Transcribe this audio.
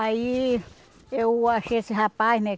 Aí eu achei esse rapaz, né?